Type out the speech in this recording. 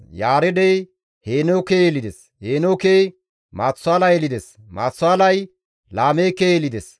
Yaareedey Heenooke yelides; Heenookey Maatusaala yelides; Maatusaalay Laameeke yelides.